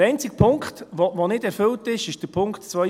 Der einzige Punkt, der nicht erfüllt ist, ist Punkt 2.b: